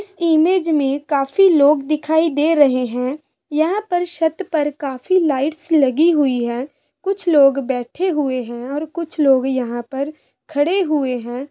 इस इमेज में काफी लोग दिखाई दे रहे है यहां पर छत पर काफी लाइट्स लगी हुई है कुछ लोग बैठे हुए है और कुछ लोग यहां पर खड़े हुए है।